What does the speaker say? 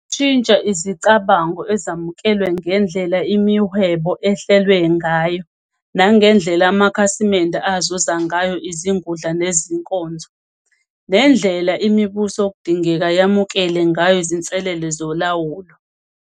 kushintsha izicabango ezamukelwe ngendlela imihwebo ehlelwe ngayo, nangendlela amakhasimende azuza ngayo izingudla nezinkonzo, nendlela imibuso okudingeka yamukele ngayo izinselele zolawulo.